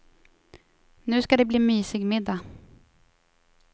Nu ska det bli mysig middag.